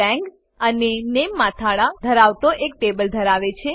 તે લાંગ અને નામે મથાળા ધરાવતો એક ટેબલ ધરાવે છે